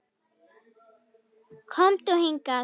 Komdu hingað